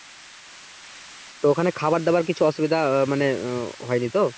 তো ওখানে খাবার দাবার কিছু অসুবিধা মানে আহ হয়নি তো